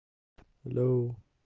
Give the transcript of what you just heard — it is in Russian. алло